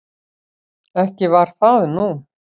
Ekki var það nú.